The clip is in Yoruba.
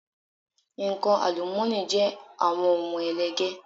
Nǹkan àlùmọ́ọ́nì jẹ́ àwọn ohun ẹlẹgẹ́.